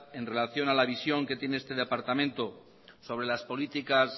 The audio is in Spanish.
en relación a visión que tiene este departamento sobre las políticas